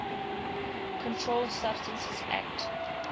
controlled substances acte